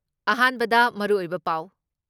ꯑꯍꯥꯟꯕꯗ ꯃꯔꯨꯑꯣꯏꯕ ꯄꯥꯎ